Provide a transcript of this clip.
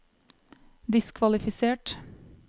diskvalifisert